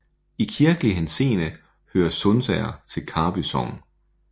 I kirkelig henseende hører Sundsager til Karby Sogn